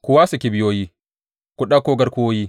Ku wasa kibiyoyi, ku ɗauko garkuwoyi!